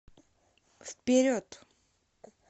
вперед